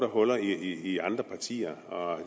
huller i andre partier og